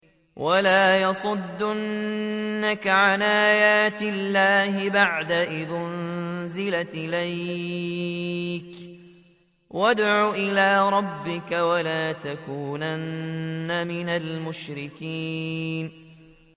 وَلَا يَصُدُّنَّكَ عَنْ آيَاتِ اللَّهِ بَعْدَ إِذْ أُنزِلَتْ إِلَيْكَ ۖ وَادْعُ إِلَىٰ رَبِّكَ ۖ وَلَا تَكُونَنَّ مِنَ الْمُشْرِكِينَ